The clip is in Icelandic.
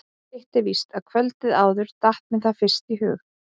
Hitt er víst að kvöldið áður datt mér það fyrst í hug.